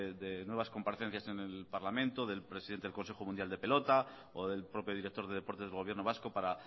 de nuevas comparecencias en el parlamento del presidente del consejo mundial de pelota o del propio director de deportes del gobierno vasco para